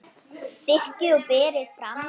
Sykrið og berið fram.